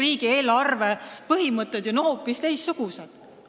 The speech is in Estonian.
Riigieelarve põhimõtted on ju hoopis teistsugused.